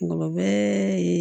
Kuma bɛɛ